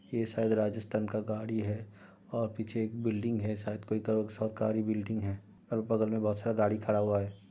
ये सायद राजस्थान का गाड़ी है और पीछे एक बिल्डिंग है सायद कोई सरकारी बिल्डिंग है और बगल में बोहुत सारा गाड़ी खड़ा हुआ है।